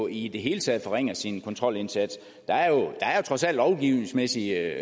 i det hele taget forringer sin kontrolindsats der er trods alt lovgivningsmæssige